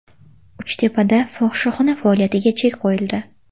Uchtepada fohishaxona faoliyatiga chek qo‘yildi.